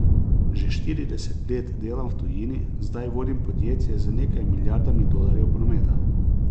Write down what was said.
Že štirideset let delam v tujini, zdaj vodim podjetje z nekaj milijardami dolarjev prometa.